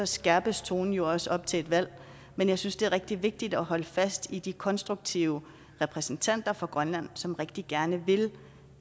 skærpes tonen jo også op til et valg men jeg synes det er rigtig vigtigt at holde fast i de konstruktive repræsentanter for grønland som rigtig gerne vil